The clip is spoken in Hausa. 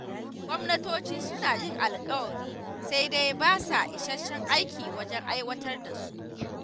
Gwamnatocin suna yin alƙawari sai dai ba sa isasshen aiki wajen aiwatar da su.